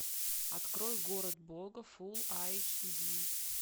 открой город бога фулл эйч ди